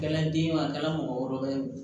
A kɛra den ye a kɛra mɔgɔ wɛrɛ ye wo